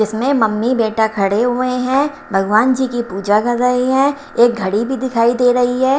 इसमें मम्मी बेटा खड़े हुए हैं भगवान जी की पूजा कर रहे हैं एक घड़ी भी दिखाई दे रही है।